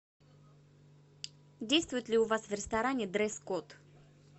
действует ли у вас в ресторане дресс код